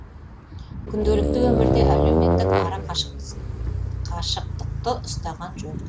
күнделікті өмірде әлеуметтік ара қашықтықты ұстанған жөн